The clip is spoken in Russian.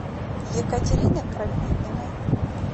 екатерины крапивиной